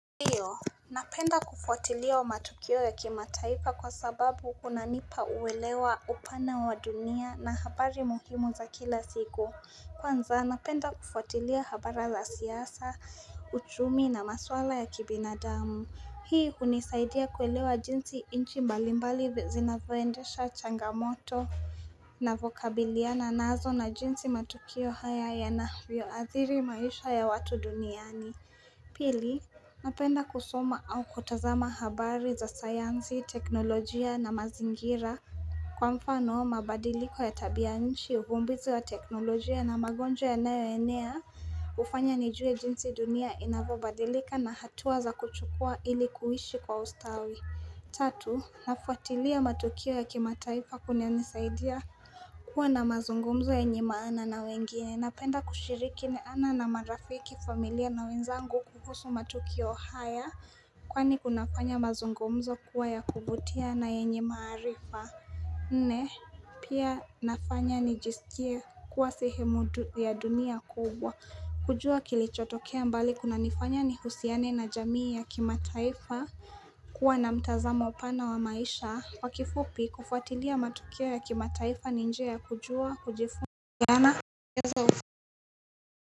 Napenda kufuatilia matukio ya kimataifa kwa sababu kunanipa uelewa upana wa dunia na habari muhimu za kila siku. Kwanza, napenda kufuatilia habara za siasa, uchumi na maswala ya kibinadamu. Hii hunisaidia kuelewa jinsi inchi mbalimbali vi zinavyoendesha changamoto navokabiliana nazo na jinsi matukio haya yanavyooathiri maisha ya watu duniani. Pili, napenda kusoma au kutazama habari za sayansi, teknolojia na mazingira Kwa mfano, mabadiliko ya tabianchi, uvumbizi wa teknolojia na magonjwa yanayoenea hufanya nijue jinsi dunia inavyobadilika na hatua za kuchukua ili kuishi kwa ustawi Tatu, nafuatilia matukio ya kimataifa kunanisaidia kuwa na mazungumzo yenye maana na wengine. Napenda kushiriki ni ana na marafiki familia na wenzangu kukusu matukio haya. Kwani kunafanya mazungumzo kuwa ya kuvutia na yenye maarifa. Nne, pia nafanya nijiskie kuwa sehemu ya dunia kubwa. Kujua kilichotokea mbali kunanifanya nihusiane na jamii ya kimataifa. Kuwa na mtazamo pana wa maisha. Kwa kifupi kufuatilia matukio ya kimataifa ni njia ya kujua, kujifuna.